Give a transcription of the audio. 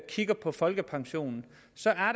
kigger på folkepensionen